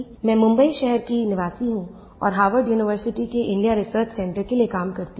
मैं मुम्बई शहर की निवासी हूँ और होवार्ड यूनिवर्सिटी के इंडिया रिसर्च सेंटर के लिये काम करती हूँ